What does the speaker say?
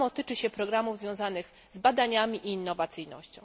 To samo tyczy się programów związanych z badaniami i innowacyjnością.